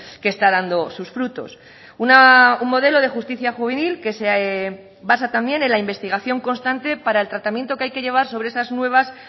que está dando sus frutos un modelo de justicia juvenil que se basa también en la investigación constante para el tratamiento que hay que llevar sobre esas nuevas